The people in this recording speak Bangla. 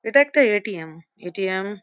এটা একটি এ .টি.এম এ.টি.এম. .।